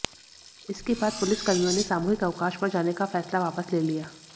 इसके बाद पुलिसकर्मियों ने सामूहिक अवकाश पर जाने का फैसला वापस ले लिया